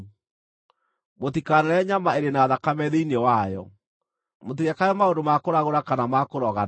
“ ‘Mũtikanarĩe nyama ĩrĩ na thakame thĩinĩ wayo. “ ‘Mũtigekage maũndũ ma kũragũra kana ma kũrogana.